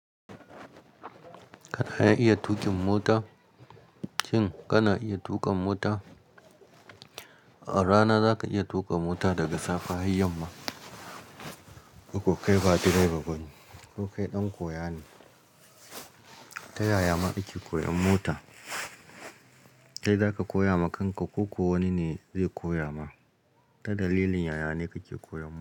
Kana iya tuƙin mota? Shin kana iya tuƙa mota? A rana zaka iya tuƙa mota daga safe har yamma. Kokai ba direba bane. Kokai ɗan koya ne. Ta yaya ma ake koyan mota? Kai zaka koya ma kanka ko kuwa wani ne zai koya ma. Ta dalilin yaya ne kake koyan mota?